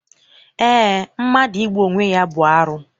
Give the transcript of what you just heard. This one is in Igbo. Eé, mmadụ igbu onwe ya bụ arụ.